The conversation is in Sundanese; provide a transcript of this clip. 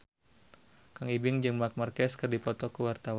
Kang Ibing jeung Marc Marquez keur dipoto ku wartawan